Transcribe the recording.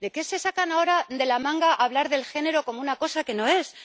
¿Por qué se sacan ahora de la manga hablar del género como una cosa que no es?